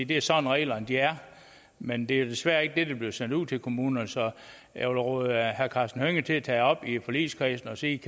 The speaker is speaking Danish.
det er sådan reglerne er men det er desværre ikke det der bliver sendt ud til kommunerne så jeg vil råde herre karsten hønge til at tage det op i forligskredsen og se